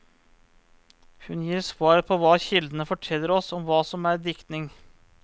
Hun gir svar på hva kildene forteller oss og hva som er diktning.